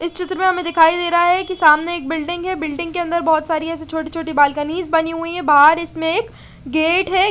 इस चित्र में हमे दिखाई दे रहा है की सामने एक बिल्डिंग है बिल्डिंग के अन्दर बोहोत सारी ईएसआई छोटी छोटी बालकनी बनी हुई है बहार इसमें एक गेट है।